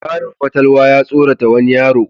Larabin fatalwa ya tsorata wani yaro.